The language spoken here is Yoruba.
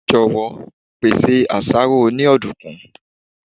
Jọ̀wọ́, pèsè àsáró oní ọ̀dùnkún.